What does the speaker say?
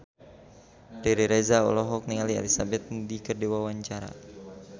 Riri Reza olohok ningali Elizabeth Moody keur diwawancara